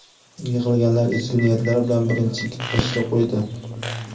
Yig‘ilganlar ezgu niyatlar bilan birinchi g‘ishtni qo‘ydi.